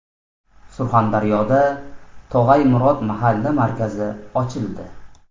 Surxondaryoda Tog‘ay Murod mahalla markazi ochildi.